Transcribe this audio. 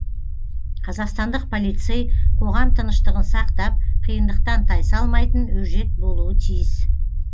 қазақстандық полицей қоғам тыныштығын сақтап қиындықтан тай салмайтын өжет болуы тиіс